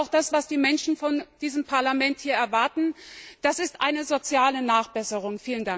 Das ist auch das, was die Menschen von diesem Parlament erwarten, das ist eine soziale Nachbesserung.